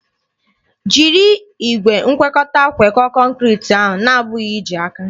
Jiri igwe ngwekọta ngwekọọ kọnkriti ahụ na-abụghị iji aka!